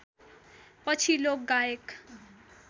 पछि लोकगायक